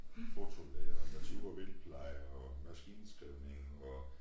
Fotolære og natur og vildtpleje og maskineskrivning og